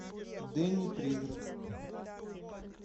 денни призрак